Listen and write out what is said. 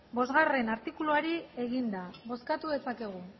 bostgarrena artikuluari egina bozkatu dezakegu